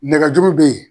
Nɛgɛjuru be yen